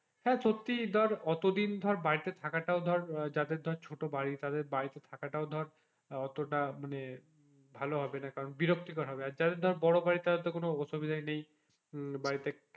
সত্যিই ধর এত দিন ধর বাড়িতে থাকাটাও ধর যাদের ধর ছোটো বাড়ি তাদের বাড়িতে থাকাটাও ধর অতোটাও মানে ভালো হবে না কারণ বিরক্তি কর হবে যাদের যাদের বড়ো বাড়ি তাদের ধর কোনো অসুবিধাই নেই,